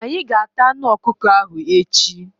Anyị ga- ata anụ ọkụkọ ahụ echi.